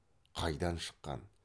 қайдан шыққан